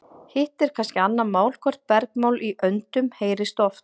hitt er kannski annað mál hvort bergmál í öndum heyrist oft